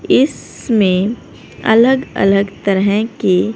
इसमें अलग अलग तरह के--